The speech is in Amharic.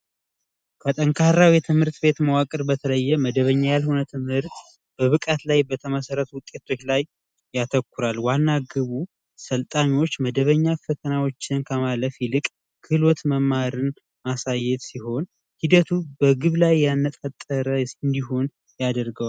የትምህርት ቤት መዋቅር በተለየ መደበኛ ያልሆነ ትምህርት በብቃት ላይ በተመሠረቱ ውጤቶች ላይ ያተኩራል ዋና ግቡ ስልጣኞች መደበኛ ፈተናዎችን ከማለት ይልቅ ክህሎት መማርን ማሳየት ሲሆን ሂደቱ በግብ ላይ ያነጣጠረ እንዲሆን ያደርገዋል